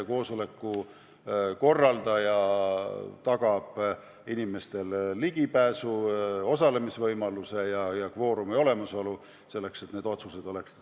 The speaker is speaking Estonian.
Koosoleku korraldaja tagab inimestele ligipääsu ja osalemisvõimaluse, et kvoorum oleks olemas ja otsused pädevad.